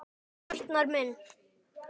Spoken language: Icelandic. Arnar minn!